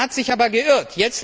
Er hat sich aber geirrt.